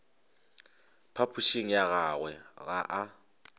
phapošing ya gagwe ga a